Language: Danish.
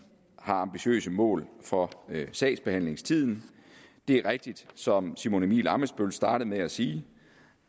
har ambitiøse mål for sagsbehandlingstiden det er rigtigt som simon emil ammitzbøll startede med at sige